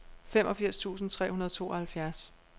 femogfirs tusind tre hundrede og tooghalvfjerds